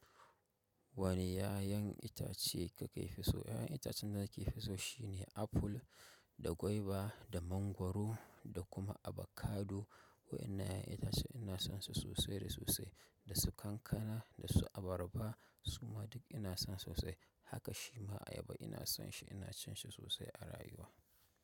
Wane 'ya'yan itace kake fi so? 'Ya'yan itacen da nake fi so shine apple da gwaiba, da mangwaro da kuma abokado. Waɗannan 'ya'yan ina so ina son su sosai da sosai, da su kankana, da su abarba su ma duk ina son su sosai. Haka shi ma ayaba ina son shi, ina cin shi sosai a rayuwa.